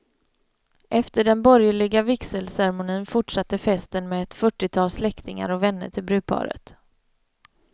Efter den borgerliga vigselceremonin fortsatte festen med ett fyrtiotal släktingar och vänner till brudparet.